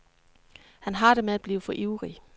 Han har det med at blive for ivrig.